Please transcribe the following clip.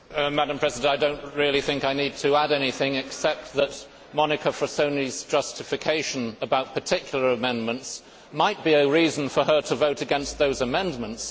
Madam President, I do not really think I need to add anything except that Monica Frassoni's justification about particular amendments might be a reason for her to vote against those amendments.